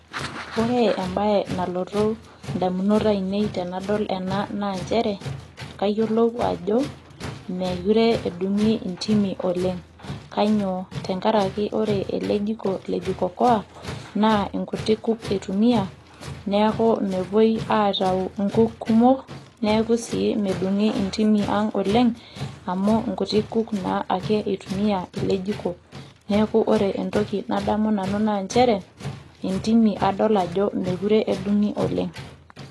ore ebae nalotu idamunot aine i naa nchere kayiolou ajo, meekure edung'i intimi olenge'.kainyioo, tenkaraki ore ele jiko le jiko okoa naa inkuti kuk itumia, neeku mepuoi aitau inkuk kumok. neeku sii medung'ii intimi ang' oleng amu inkuti kuk naa ake itumia ale jiko. neeku ore entoki nadamu nanu naa nchere intimi meekure edung'i oleng.